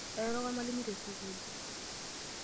Airoroko olmalimui tesukuul.